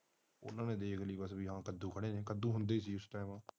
ਉਾਂ ਨੇ ਦੇਖ ਲੈ ਕੱਦੂ ਖੜੇ ਕੱਦੂ ਹੁੰਦੇ ਕੀ ਐ